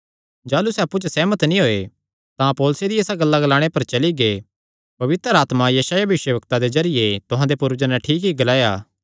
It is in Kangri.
जाह़लू सैह़ अप्पु च सेहमत नीं होये तां पौलुसे दिया इसा गल्ला ग्लाणे पर चली गै पवित्र आत्मा यशायाह भविष्यवक्तां दे जरिये तुहां दे पूर्वजां नैं ठीक ई ग्लाया